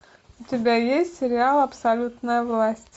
у тебя есть сериал абсолютная власть